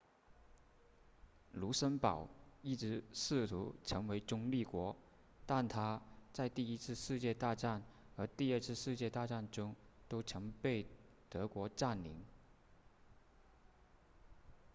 卢森堡一直试图成为中立国但它在第一次世界大战和第二次世界大战中都曾被德国占领